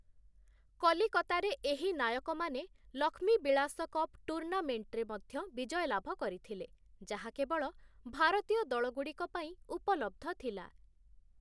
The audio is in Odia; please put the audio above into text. କଲିକତାରେ ଏହି ନାୟକ ମାନେ ଲକ୍ଷ୍ମୀବିଳାସ କପ୍ ଟୁର୍ଣ୍ଣାମେଣ୍ଟ୍‍‍ରେ ମଧ୍ୟ ବିଜୟ ଲାଭ କରିଥିଲେ, ଯାହା କେବଳ ଭାରତୀୟ ଦଳଗୁଡ଼ିକ ପାଇଁ ଉପଲବ୍ଧ ଥିଲା ।